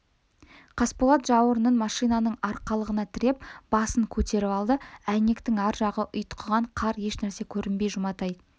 қасболат жауырынын машинаның арқалығына тіреп басын көтеріп алды әйнектің ар жағы ұйтқыған қар ешнәрсе көрінбейді жұматай